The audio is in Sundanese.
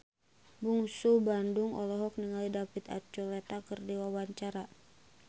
Bungsu Bandung olohok ningali David Archuletta keur diwawancara